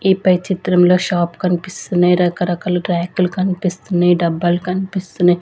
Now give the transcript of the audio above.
ఈ పై చిత్రంలో షాప్ కనిపిస్తున్నాయి రకరకాల ర్యాక్లు కనిపిస్తున్నాయి డబ్బాలు కనిపిస్తున్నాయి.